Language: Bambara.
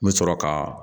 N bɛ sɔrɔ ka